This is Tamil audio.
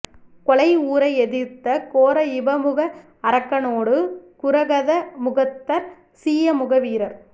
கொலை உற எதிர்த்த கோர இப முக அரக்கனோடு குரகத முகத்தர் சீய முக வீரர்